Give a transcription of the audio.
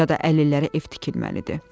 Ya da əlillərə ev tikilməlidir.